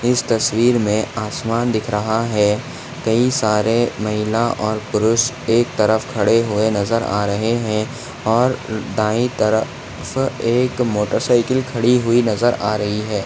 इस तस्वीर मे आसमान दिख रहा है कई सारे महिला और पुरुष एक तरफ खड़े हुए नजर आ रहे है और दाई तरफ एक मोटरसाइकिल खड़ी हुई नजर आ रही है।